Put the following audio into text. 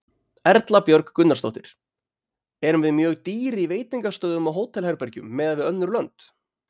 Erla Björg Gunnarsdóttir: Erum við mjög dýr í veitingastöðum og hótelherbergjum miðað við önnur lönd?